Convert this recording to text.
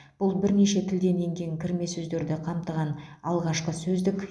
бұл бірнеше тілден енген кірме сөздерді қамтыған алғашқы сөздік